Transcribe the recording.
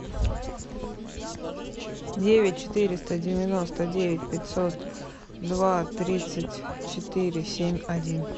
девять четыреста девяносто девять пятьсот два тридцать четыре семь один